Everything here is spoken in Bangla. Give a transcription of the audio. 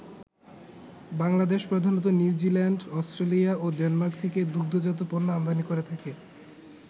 বাংলাদেশ প্রধানত নিউজিল্যান্ড, অস্ট্রেলিয়া ও ডেনমার্ক থেকে দুগ্ধজাত পণ্য আমদানি করে থাকে।